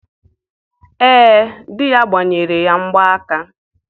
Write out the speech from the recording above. Ee, di ya gbanyere ya mgba aka.